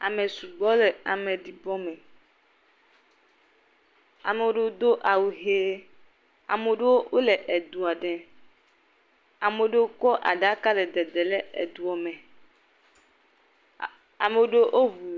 Ame sugbɔ le ameɖibɔ me, ame ɖewo do awu ʋe, ame ɖewo wole edo ɖee, ame ɖewo wokɔ aɖaka le dede le edoɔ me.